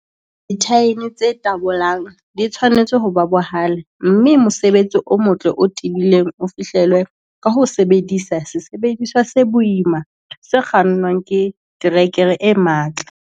Dithaene tse tabolang di tshwanetse ho ba bohale, mme mosebetsi o motle o tebileng o fihlellwa ka ho sebedisa sesebediswa se boima se kgannwang ke terekere e matla.